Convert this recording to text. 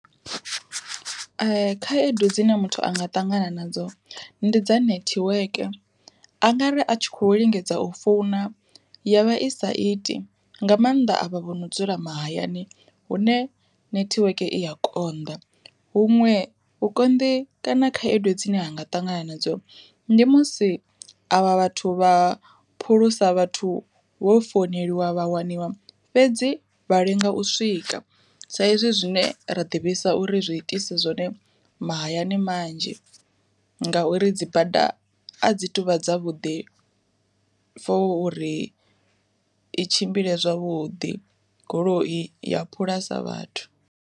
Khaedu dzine muthu anga ṱangana nadzo ndi dza nethiweke, a ngari a tshi kho lingedza u founa ya vha i sa iti nga maanḓa a vha vho no dzula mahayani hune nethiweke i a konḓa. Huṅwe hu konḓi kana khaedu dzine ha nga ṱangana nadzo, ndi musi avha vhathu vha phulusa vhathu vho founeliwa vha waniwa fhedzi vha lenga u swika, sa ezwi zwine ra ḓivhisa uri zwi itisa zwone mahayani manzhi, ngauri dzi bada a dzi tuvha dza vhuḓi for uri i tshimbile zwavhuḓi goloi ya phulasa vhathu.